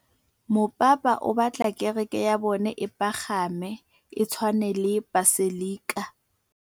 Mopapa o batla kereke ya bone e pagame, e tshwane le paselika.